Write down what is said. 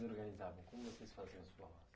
organizavam? Como vocês faziam os forrós?